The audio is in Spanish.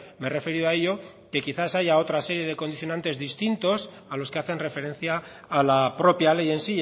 me he referido a ello que quizá haya otra serie de condicionantes distintos a los que hacen referencia a la propia ley en